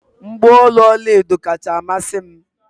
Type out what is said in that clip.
mgbaolu ọla edo kacha amasị m